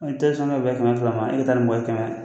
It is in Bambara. I tɛ sɔn n'o bɛ bɛn bɛɛ kɛmɛ fila ma e ka taa ni mɔgɔ ye kɛmɛ